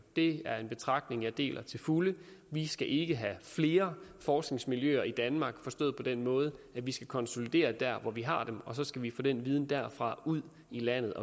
det er en betragtning vi deler til fulde vi skal ikke have flere forskningsmiljøer i danmark forstået på den måde at vi skal konsolidere der hvor vi har dem og så skal vi få den viden derfra ud i landet